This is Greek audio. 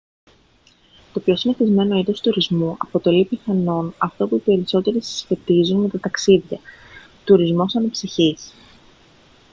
το πιο συνηθισμένο είδος τουρισμού αποτελεί πιθανόν αυτό που οι περισσότεροι συσχετίζουν με τα ταξίδια τουρισμός αναψυχής